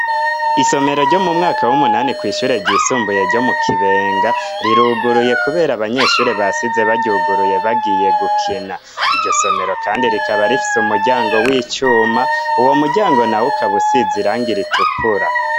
Isomero ryo mu mwaka w'umunani kw' ishure ryisumbuye ryo mu Kibenga, riruguruye kubera abanyeshure basize baryuguruye bagiye gukina. Iryo somero kandi rikaba rifise umuryango w'icuma, uwo muryango nawo ukaba usize irangi ritukura.